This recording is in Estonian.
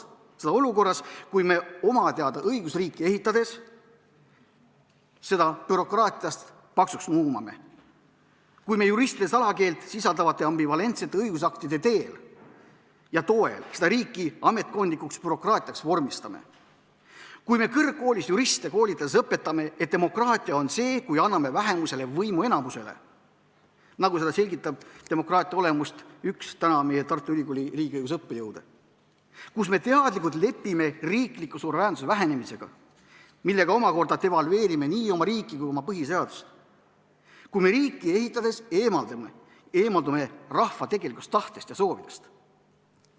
Seda olukorras, kui me oma teada õigusriiki ehitades seda bürokraatiast paksuks nuumame; kui me juristide salakeelt sisaldavate ambivalentsete õigusaktide teel ja toel seda riiki ametkondlikuks bürokraatiaks vormistame; kui me kõrgkoolis juriste koolitades õpetame, et demokraatia on see, kui anname vähemusele võimu enamuse üle, nagu selgitab demokraatia olemust üks meie Tartu Ülikooli riigiõiguse õppejõude; kus me teadlikult lepime riikliku suveräänsuse vähenemisega, millega omakorda devalveerime nii oma riiki kui ka oma põhiseadust; kui me riiki ehitades eemaldume rahva tegelikust tahtest ja soovidest.